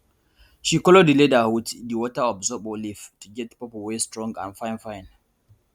she color di leather wit di water of zobo leaf to get purple wey strong and fine fine